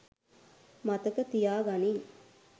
මතක තියා ගනිං.